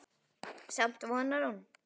Samt vonar hún.